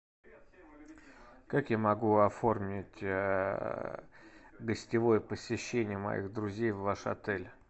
как я могу оформить гостевое посещение моих друзей в ваш отель